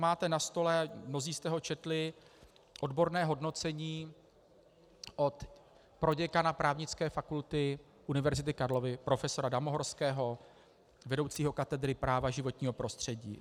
Máte na stole, mnozí jste ho četli, odborné hodnocení od proděkana Právnické fakulty Univerzity Karlovy profesora Damohorského, vedoucího katedry práva životního prostředí.